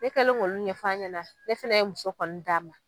Ne kɛlen k'olu ɲɛf'a ɲɛna, ne fɛnɛ ye muso kɔni d'a ma.